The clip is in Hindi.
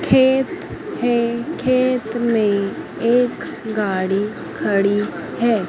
खेत है खेत में एक गाड़ी खड़ी है।